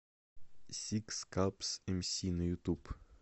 сикскапс эмси на ютуб